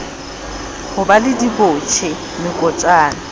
ho ba le dibotjhe mekotjana